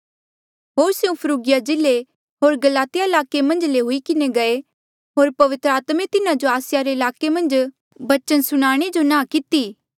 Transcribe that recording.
होर स्यों फ्रुगिया जिल्ले होर गलातिया ईलाके मन्झा ले हुई किन्हें गये होर पवित्र आत्मे तिन्हा जो आसिया रे ईलाके मन्झ बचन सुणाणे जो नांह किती